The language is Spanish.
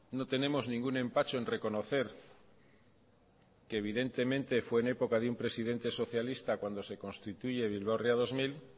no tenemos ningún empacho en reconocer que evidentemente fue en época de un presidente socialista cuando se constituye bilbao ría dos mil